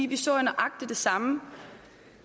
vi så nøjagtig det samme